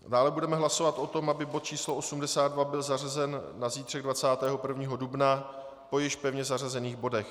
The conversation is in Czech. Dále budeme hlasovat o tom, aby bod číslo 82 byl zařazen na zítřek 21. dubna po již pevně zařazených bodech.